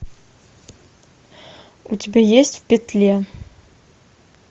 у тебя есть в петле